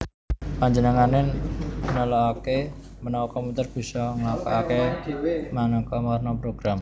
Panjenengané nelaaké menawa komputer bisa nglakokaké manéka warna program